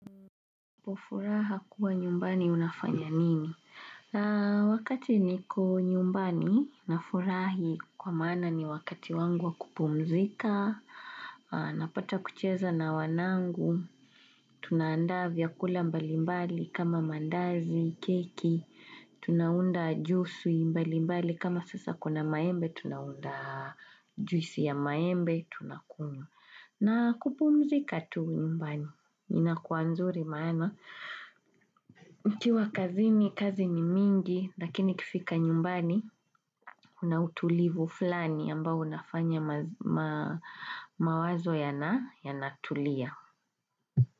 Kwa furaha kuwa nyumbani unafanya nini? Wakati niko nyumbani na furahi kwa maana ni wakati wangu wa kupumzika, napata kucheza na wanangu, tunaandaa vyakula mbalimbali kama mandazi, keki, tunaunda juisi mbalimbali kama sasa kuna maembe, tunaunda juisi ya maembe, tuna kunywa. Na kupumzika tu nyumbani, ina kuwa nzuri maana, nikiwa kazini, kazi ni mingi, lakini kifika nyumbani, una utulivu fulani ambao unafanya mawazo yanatulia.